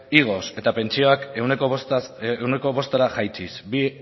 igoz eta pentsioak ehuneko bostera jaitsiz bi